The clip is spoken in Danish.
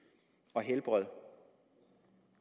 og helbred